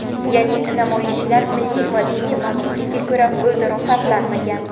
Ya’ni namoyishchilar milliy va diniy mansublikka ko‘ra o‘zaro farqlanmagan.